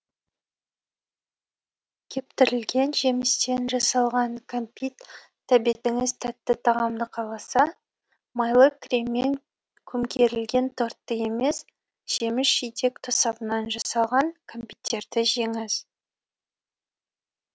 кептірілген жемістен жасалған кәмпиттәбетіңіз тәтті тағамды қаласа майлы креммен көмкерілген тортты емес жеміс жидек тосабынан жасалған кәмпиттерді жеңіз